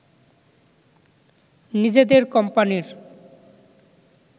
নিজেদের কোম্পানির